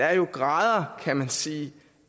er jo grader kan man sige